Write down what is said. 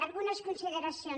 algunes consideracions